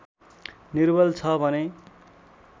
निर्बल छ भने